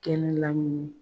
Kɛnɛ lamini